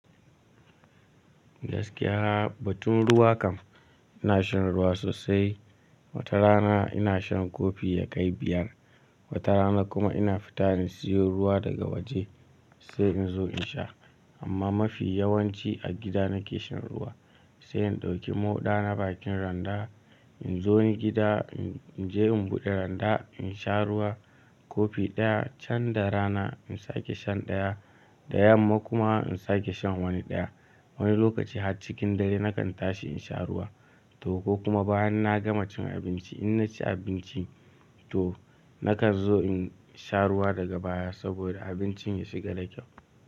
Gaskiya batun ruwa kam ina shan ruwa sosai. Wata rana ina shan kofi yakai biyar. Wata rana kuma ina fita in siyo ruwa daga waje sai in zo in sha. Amma mafi yawanci a gida nake shan ruwa sai in ɗauki moɗa na bakin randa in zo ni gida in je in buɗe randa in sha ruwa. Kofi ɗaya can da rana in sake shan ɗaya. Da yamma kuma in sake shan wani ɗaya. Wani lokaci har cikin dare nakan tashi in sha ruwa toh ko kuma bayan na gama cin abinci in na ci abinci toh nakan zo in sha ruwa daga baya saboda abincin ya shiga da kyau.